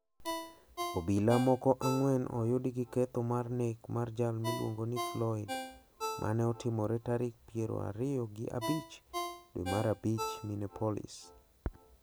Obila moko ang`wen oyudi gi ketho mar nek mar jal miluongo ni Floyd ma ne otimore tarik pier ariyo gi abich dwe mar abich Minneapolis.